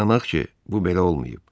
İnanaq ki, bu belə olmayıb.